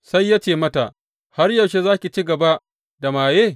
Sai ya ce mata, Har yaushe za ki ci gaba da maye?